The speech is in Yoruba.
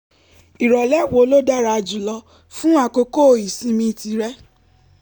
ìrọ̀lẹ́ wo ló dára jù lọ fún àkókò ìsinmi tìrẹ?